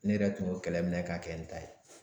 Ne yɛrɛ tun y'o kɛlɛ minɛ k'a kɛ n ta ye